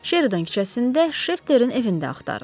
Şeridan küçəsində Şafterin evində axtarın.